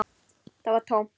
Það var tómt.